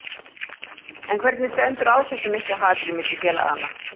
En hvernig stendur á þessu mikla hatri á milli félaganna?